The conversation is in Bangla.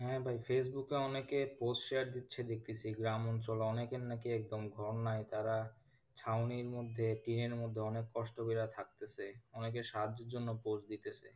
হ্যাঁ ভাই facebook এ অনেকে post share দিচ্ছে দেখতাছি গ্রামাঞ্চলে অনেকের না কি একদম ঘর নাই তারা ছাউনির মধ্যে টিনের মধ্যে অনেক কষ্ট করে থাকতেছে অনেকে সাহায্যের জন্য post দিতেছে,